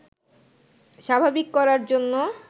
স্বাভাবিক করার জন্য